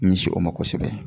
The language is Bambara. Nis o ma kosɛbɛ